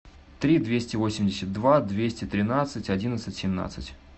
три двести восемьдесят два двести тринадцать одиннадцать семнадцать